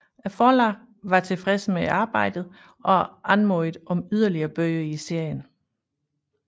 Forlaget var tilfreds med arbejdet og anmodede om yderligere bøger i serien